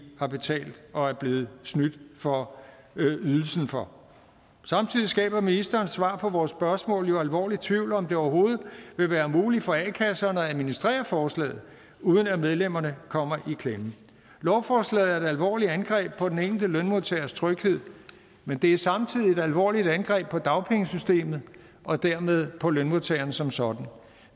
har betalt og er blevet snydt for ydelsen for samtidig skaber ministerens svar på vores spørgsmål jo alvorlig tvivl om om det overhovedet vil være muligt for a kasserne at administrere forslaget uden at medlemmerne kommer i klemme lovforslaget er et alvorligt angreb på den enkelte lønmodtagers tryghed men det er samtidig et alvorligt angreb på dagpengesystemet og dermed på lønmodtagerne som sådan